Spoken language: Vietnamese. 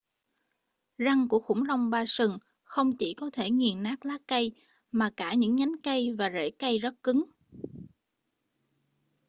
răng của khủng long ba sừng không chỉ có thể nghiền nát lá cây mà cả những nhánh cây và rễ cây rất cứng